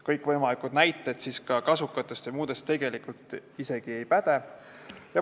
Kõikvõimalikud näited kasukate ja muude asjade kohta tegelikult ei päde.